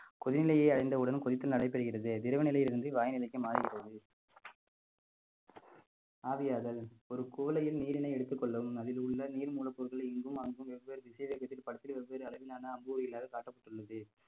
கொதிநிலையை அறிந்தவுடன் கொதித்தல் நடைபெறுகிறது திரவ நிலையில் இருந்து வாயுநிலைக்கு மாறிவிடுகிறது ஆவியாதல் ஒரு குவளையில் நீரினை எடுத்துக் கொள்ளவும் அதில் உள்ள நீர் மூலப்பொருட்களை இங்கும் அங்கும் வெவ்வேறு திசை வெவ்வேறு அளவிலான அம்புவைகளாக காட்டப்பட்டுள்ளது